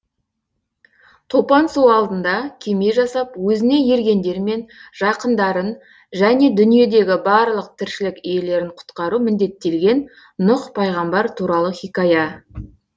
топан су алдында кеме жасап өзіне ергендер мен жақындарын және дүниедегі барлық тіршілік иелерін құтқару міндеттелген нұх пайғамбар туралы хикая